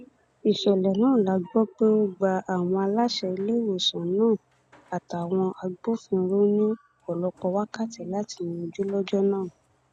ìṣẹlẹ náà la gbọ pé ó gba àwọn aláṣẹ iléewòsàn náà àtàwọn agbófinró ní ọpọlọpọ wákàtí láti yanjú lọjọ náà